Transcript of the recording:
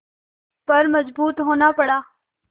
पर मजबूर होना पड़ा